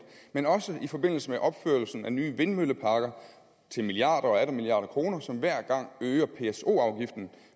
men også i forbindelse med opførelsen af nye vindmølleparker til milliarder og atter milliarder af kroner som hver gang øger pso afgiften